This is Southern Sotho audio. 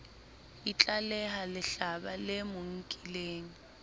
itlaleha lehlaba le mo nkileng